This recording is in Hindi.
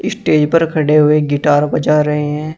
स्टेज पर खड़े हुए गिटार बजा रहे हैं।